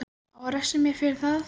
Á að refsa mér fyrir það?